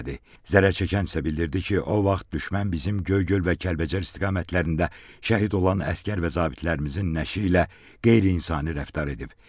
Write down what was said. Zərərçəkən isə bildirdi ki, o vaxt düşmən bizim Göygöl və Kəlbəcər istiqamətlərində şəhid olan əsgər və zabitlərimizin nəşi ilə qeyri-insani rəftar edib.